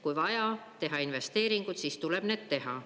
Kui on vaja teha investeeringuid, siis tuleb need teha.